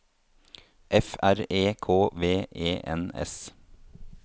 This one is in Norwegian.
F R E K V E N S